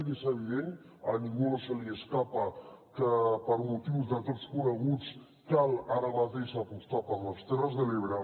i és evident a ningú no se li escapa que per motius de tots coneguts cal ara mateix apostar per les terres de l’ebre